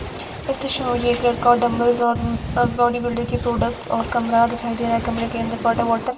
इस दृश्य में मुझे एक लड़का और डंबल्स और अह बॉडीबिल्डर के प्रोडक्ट्स और कमरा दिखाई दे रहा है कमरे के अंदर वॉटर बॉटल --